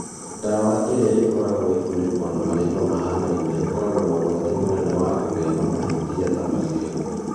Dawa ĩrĩa ĩkoragwo ikuniko na marĩĩtwa mahanaine ĩkorũo na ũgwati mũnene wa kũgĩa na mahĩtia ta macio.